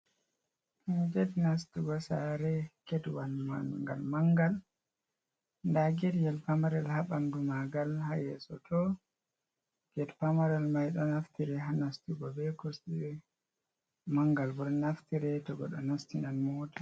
Nɗa get nastugo saare get wal mangal nɗa getyel pamarel ha ɓandu magal ha yeso toh get pamaral mai do naftiri ha nastugo be kosde get walcmangal bol naftiri to goɗɗo nastinan mota.